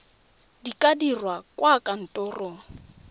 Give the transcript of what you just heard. di ka dirwa kwa kantorong